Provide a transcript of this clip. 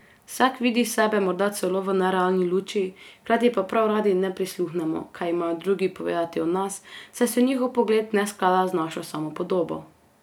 Vsak vidi sebe morda celo v nerealni luči, hkrati pa prav radi ne prisluhnemo, kaj imajo drugi povedati o nas, saj se njihov pogled ne sklada z našo samopodobo.